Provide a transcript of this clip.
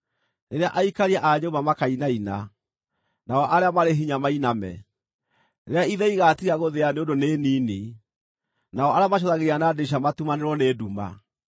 rĩrĩa aikaria a nyũmba makainaina, nao arĩa marĩ hinya mainame, rĩrĩa ithĩi igaatiga gũthĩa nĩ ũndũ nĩ nini, nao arĩa macũthagĩrĩria na ndirica matumanĩrwo nĩ nduma;